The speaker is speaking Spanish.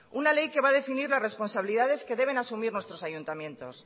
una ley que va a definir las responsabilidades que deben asumir nuestros ayuntamientos